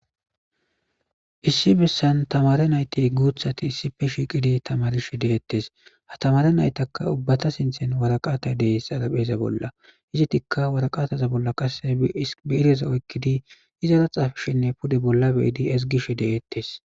issi bessan tamare nayti guuthati issife shiiqidi tamarishi deettes ha tamare naytaka ubbata sinthen waraqata dees xarapheeza bolla izitikka waraqataza bolla qasse biireza oykkidi izara xaafshinne pude bolla be7idi ezgishi de7ettes.